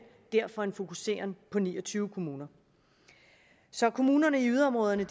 og derfor en fokusering på ni og tyve kommuner så kommunerne i yderområderne